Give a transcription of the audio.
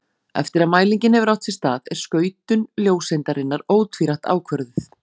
Eftir að mælingin hefur átt sér stað er skautun ljóseindarinnar ótvírætt ákvörðuð.